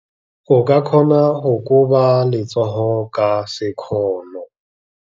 O ka kgona go koba letsogo ka sekgono.